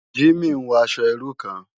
Jimi n wò aṣò irú kán